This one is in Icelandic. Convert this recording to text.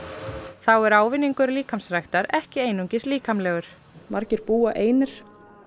þá er ávinningur líkamsræktar ekki einungis líkamlegur margir búa einir